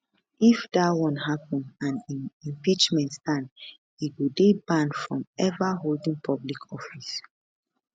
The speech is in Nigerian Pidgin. if dat one happen and im impeachment stand e go dey banned from ever holding public office